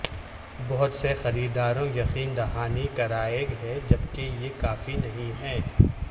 بہت سے خریداروں یقین دہانی کرائی ہے جبکہ یہ کافی نہیں ہے